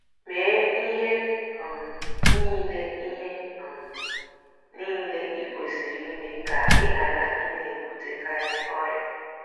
Mee ihe um niile ihe um niile i kwesịrị ime ka ị ghara ịna - ebutekarị ọrịa.